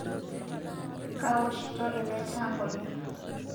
Kawoshito eletaa nkonyek